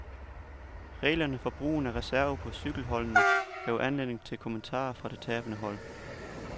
Reglerne for brugen af reserver på cykelholdene gav anledning til kommentarer fra det tabende hold.